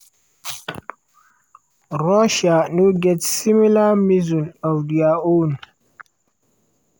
"russia no get similar missile of dia own."